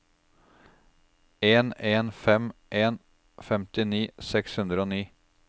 en en fem en femtini seks hundre og ni